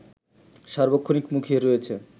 সার্বক্ষণিক মুখিয়ে রয়েছে